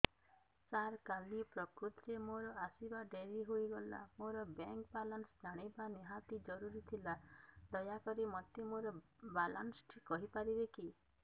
ସାର କାଲି ପ୍ରକୃତରେ ମୋର ଆସିବା ଡେରି ହେଇଗଲା ମୋର ବ୍ୟାଙ୍କ ବାଲାନ୍ସ ଜାଣିବା ନିହାତି ଜରୁରୀ ଥିଲା ଦୟାକରି ମୋତେ ମୋର ବାଲାନ୍ସ ଟି କହିପାରିବେକି